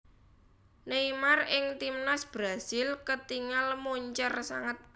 Neymar ing Timnas Brasil ketingal moncer sanget